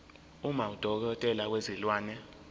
uma udokotela wezilwane